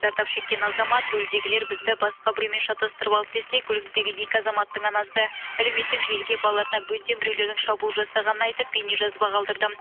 зардап шеккен азамат рульдегілер бізді басқа біреумен шатастырып алды десе көліктегі екі азаматтың анасы әлеуметтік желіге балаларына бөтен біреулердің шабуыл жасағанын айтып бейнежазба қалдырды